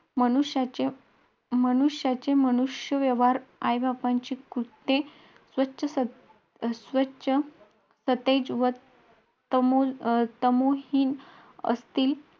तेव्हा आम्ही मस्त लाईनीने एक सोबत हात पाठीमागे करून लाईनीने म मंदिरात गेलो